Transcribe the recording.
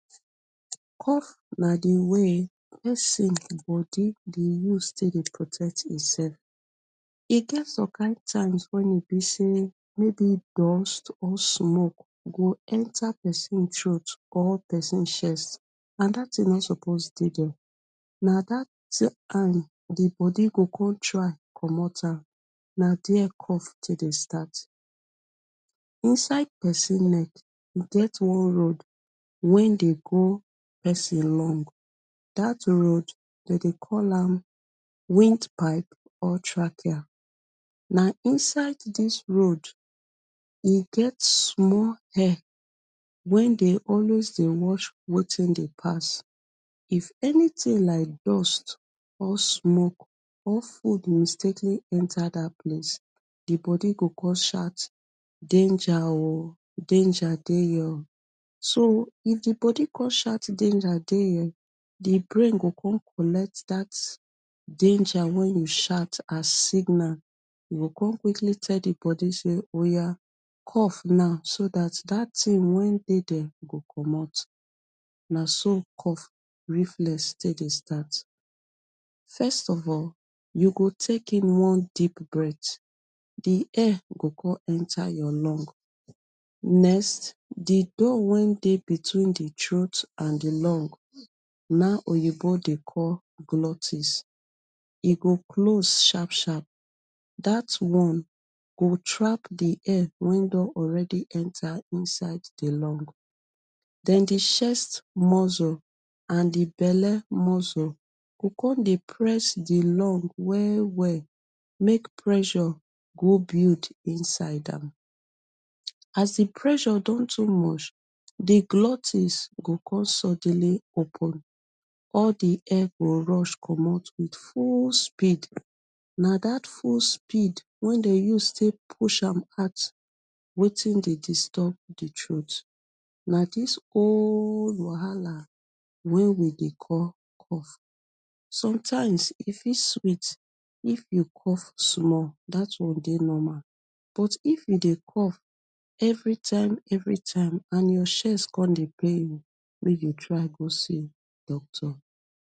Cough na di way wey persin body dey use take dey protect hin self e get some kind times wen e b say maybe dust or smoke go enta persin throat or persin chest, and dat thing no suppose dey there na dat time di body go con try commot am, na there cough take dey start, inside persin neck, e get one road wey dey go persin lung, dat road dem dey call am wind pipe or trachea na inside dis road e get small hair wen dey always dey wash dey wetin dey pass, if anything like dust or smoke or food mistakenly enta dat place di body go con shout danger oh, danger dey here oh, so if di body con shout danger dey here, di brain go con collect dat danger wey e shout as signal, e go con quickly tell di body sey oya cough now so dat dat thing wen dey there go commot, naso dey cough reflex take dey start, first of all u go take in one deep breath di air go con enta your lung, next di door wey dey between di throat and di lung nah oyinbo dey call glutis e go close sharp sharp, dat one go trap di air wey don already enta inside di lung, den di chest muscle and di belle muscles go con dey press di lung well well make pressure go build inside am, as di pressure don too much di glutis go con suddenly open all di air go rush commot with full speed na dat full speed wey dem use take push am out wetin dey disturb di throat, na dis whooole wahala wey we dey call cough, sometimes e fit sweet if you cough small, dat one dey normal, but if u dey cough everytime, everytime and your chest con dey pain you make u try go see doctor